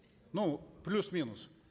ну плюс минус